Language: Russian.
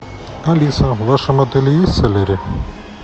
алиса в вашем отеле есть солярий